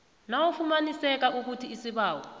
nakufumaniseka ukuthi isibawo